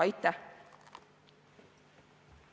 Aitäh!